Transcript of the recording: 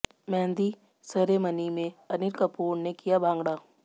mehndi ceremony में अनिल कपूर ने किया भांगड़ा